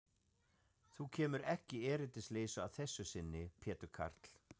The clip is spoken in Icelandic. Þú kemur ekki erindisleysu að þessu sinni, Pétur karl.